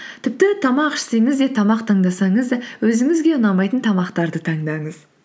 тіпті тамақ ішсеңіз де тамақ таңдасаңыз да өзіңізге ұнамайтын тамақтарды таңдаңыз